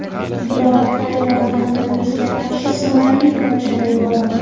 Biroq Tayvan koronavirusga qarshi samarali kurash olib bormoqda.